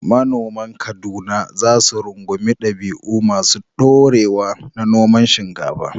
Manoman Kaduna za su rungumi dabi’u masu ɗorewa na noman shinkafa.